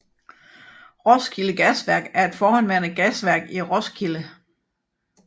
Roskilde Gasværk er et forhenværende gasværk i Roskilde